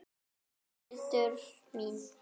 Elsku Hildur mín.